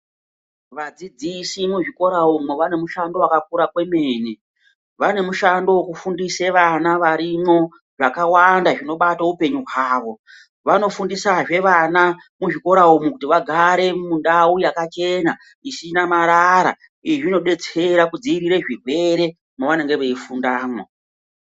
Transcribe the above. Vadzidzisi muzvikora umu vane mushando wakakura kwemene vane mushando wekufundise vana varimwo zvakawanda zvibobato uoenyu hwawo vanofundisazve vana muxvikora umu kuti vagare pandau yakachena isina marara izvi zvinodetsera kudzivirirw zvirwere mwavanenge veifundamwo.